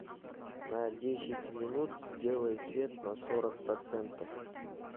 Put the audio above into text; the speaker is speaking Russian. на десять минут сделай свет на сорок процентов